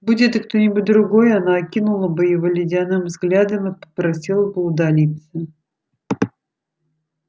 будь это кто-нибудь другой она окинула бы его ледяным взглядом и попросила бы удалиться